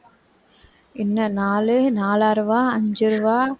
இன்னும் நாலு நாலாறு ரூபாய் அஞ்சு ரூபாய்